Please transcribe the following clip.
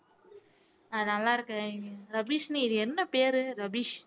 நான் நல்லா இருக்கேன் ரபிஷினி இது என்ன பேரு ரபிஷ்